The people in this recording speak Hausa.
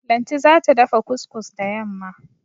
Lanti za ta dafa kus-kus da yamma.